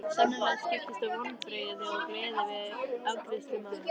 Sannarlega skiptust á vonbrigði og gleði við afgreiðslu mála.